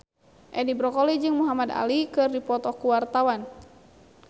Edi Brokoli jeung Muhamad Ali keur dipoto ku wartawan